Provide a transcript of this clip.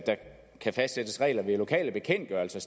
kan fastsættes regler ved lokale bekendtgørelser